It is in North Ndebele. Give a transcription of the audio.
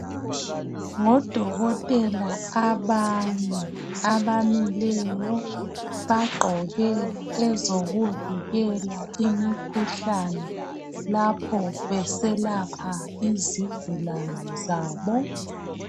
Ngodokotela abane abamileyo, bagqoke ezokuvikela imikhuhlane lapho beselapha izigulane zabo.